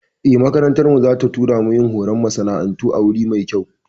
Eh, makarantar mu za ta tura mu yin horon masana'antu a wuri mai kyau